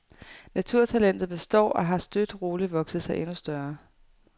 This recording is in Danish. Naturtalentet består og har støt og roligt vokset sig endnu større.